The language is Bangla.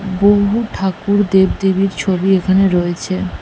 বহু ঠাকুর দেব দেবীর ছবি এখানে রয়েছে।